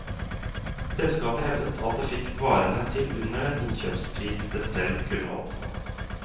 Selskapet hevdet at det fikk varene til under den innkjøpspris det selv kunne oppnå.